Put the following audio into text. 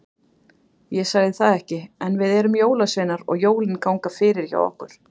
Ég sagði það ekki, en við erum jólasveinar og jólin ganga fyrir hjá okkur.